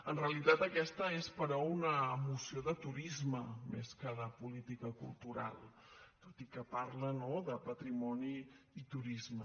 en realitat aquesta és però una moció de turisme més que de política cultural tot i que parla no de patrimoni i turisme